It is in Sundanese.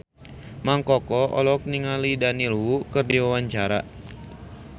Mang Koko olohok ningali Daniel Wu keur diwawancara